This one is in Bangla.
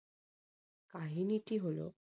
কাহিনীটি হলো